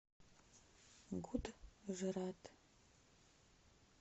гуджрат